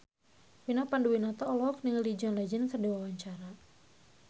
Vina Panduwinata olohok ningali John Legend keur diwawancara